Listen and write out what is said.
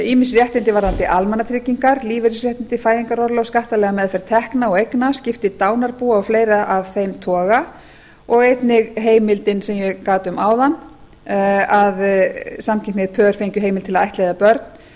ýmis réttindi varðandi almannatryggingar lífeyrisréttindi fæðingarorlof skattalega meðferð tekna og eigna skipti dánarbúa og fleira af þeim toga og einnig heimildin sem ég gat um áðan að samkynhneigð pör fengju heimild til að ættleiða börn á